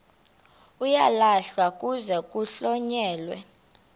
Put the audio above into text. uyalahlwa kuze kuhlonyelwe